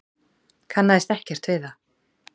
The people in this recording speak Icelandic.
Kannaðist ekkert við það.